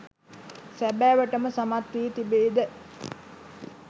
සැබෑවට ම සමත් වී තිබේද?